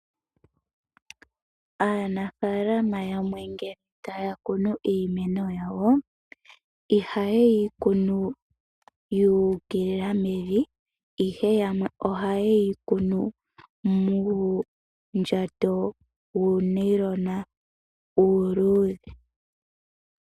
Aanafalama yamwe nge taya kunu iimeno yawo iheyi kunu yuukilila mevi ihe yamwe ohayeyi kunu muundjato wuunayilona uuludhe.